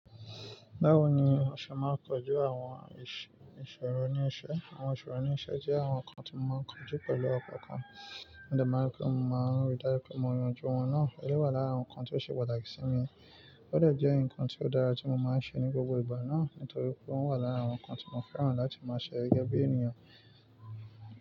Báwo ni o ṣe máa ń kojú àwon ìsoro ní isẹ́? Àwon ìsọ̀rọ̀ ní isẹ́ jẹ́ àwon nkan ti mo máa ń kojú pẹ̀lú ọkan kan. Mo de máa rí pé mo máa ń rí dájú pé mo yanjú wọn náà. Eleyii wà lára àwọn nnkan tí ó ṣe pàtàkì sí mi. Ó de jẹ́ ǹkan tí ó dára tí mo máa ń ṣe ní gbogbo ìgbà náà nítorí pé ó wà lára àwọn nǹkan tí mo fẹ́ran láti máa ṣe gẹ́gẹ́ bí ènìyàn.